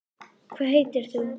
Hvað heitir hún?